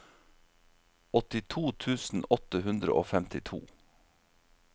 åttito tusen åtte hundre og femtito